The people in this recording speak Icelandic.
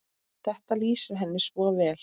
Þetta lýsir henni svo vel.